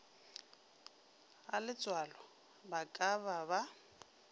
galetsoalo ba ka ba ba